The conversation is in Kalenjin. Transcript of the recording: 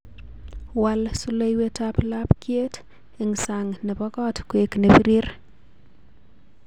Wal soloiwetab labkyet eng sang nebo kot koek nebirir